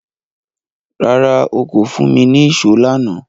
Rárá, o kò fún mi ní ìṣó lánàá